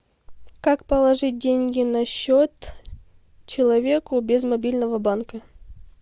как положить деньги на счет человеку без мобильного банка